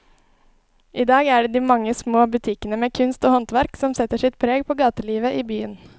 I dag er det de mange små butikkene med kunst og håndverk som setter sitt preg på gatelivet i byen.